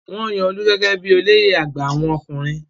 Wọ́n yan Olú gẹ́gẹ́ bí i olóyè àgbà àwọn ọkùnrin.